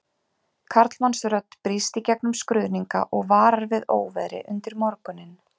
Karlmannsrödd brýst í gegnum skruðninga og varar við óveðri undir morguninn